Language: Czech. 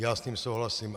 Já s tím souhlasím.